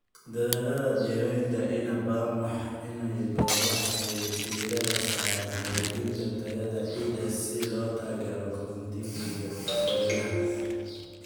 Dadaallada dhiraynta inta badan waxay diiradda saaraan hagaajinta tayada ciidda si loo taageero koritaanka geedaha.